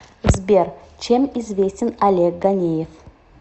сбер чем известен олег ганеев